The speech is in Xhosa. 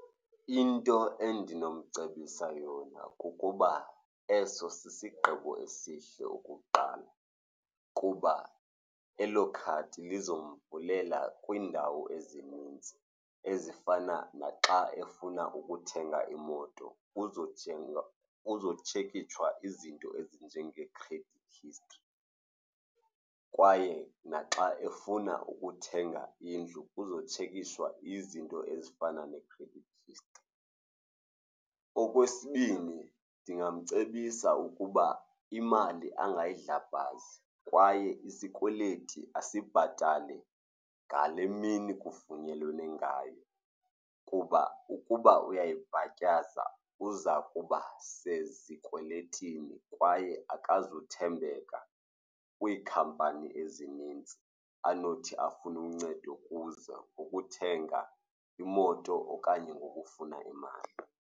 Into endinomcebisa yona kukuba eso sisigqibo esihle, okokuqala, kuba elo khadi liza kumvulela kwiindawo ezininzi ezifana naxa efuna ukuthenga imoto. Kuzothengwa, kuzotshekishwa izinto ezinje nge-credit history kwaye naxa efuna ukuthenga indlu kuzotshekishwe izinto ezifana ne-credit history. Okwesibini, ndingamcebisa ukuba imali angayidlabhazi kwaye isikweleti asibhatale ngale mini kuvunyelwane ngayo kuba ukuba uyayibhatyaza uza kuba sezikweletini kwaye akazuthembeka kwiikhampani ezinintsi anothi afune uncedo kuzo ukuthenga imoto okanye ngokufuna imali.